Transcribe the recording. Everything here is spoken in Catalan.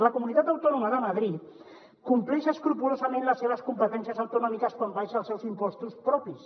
la comunitat de madrid compleix escrupolosament les seves competències autonòmiques quan abaixa els seus impostos propis